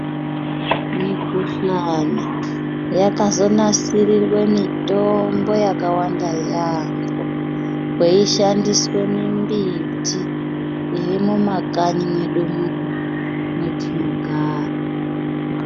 Mikhuhlane yakazonasirirwe mitombo yakawanda yaamho yeishandiswe mimbiti yemumakanyi medu muno metinogara.